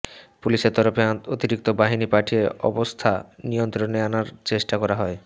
পুলিশের তরফে অতিরিক্ত বাহিনী পাঠিয়ে অবস্থা নিয়ন্ত্রণে আনার চেষ্টা করা হয়